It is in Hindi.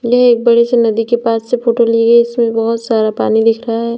ये एक बड़ी सी नदी के पास से फोटो ली गई इसमें बहोत सारा पानी दिख रहा है।